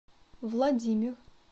владимир